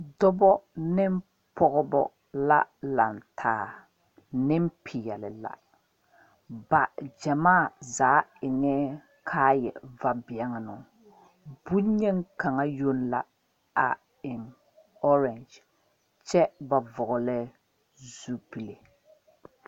Dɔbɔ ne pɔgebɔ la lantaa nempeɛle la ba gyamaa zaa eŋɛɛ kaaya vabɛnnoŋ boŋyeni kaŋa yoŋ la a eŋ ɔrɛgye kyɛ ba vɔgli zupile.